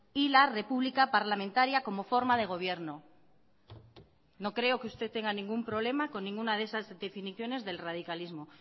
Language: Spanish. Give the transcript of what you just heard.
y la república parlamentaria como forma de gobierno no creo que usted tenga ningún problema con ninguna de esas definiciones del radicalismo